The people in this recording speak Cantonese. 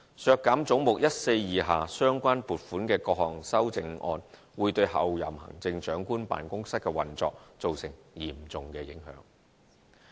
削減總目142下相關撥款的各項修正案會對候任行政長官辦公室的運作造成嚴重影響。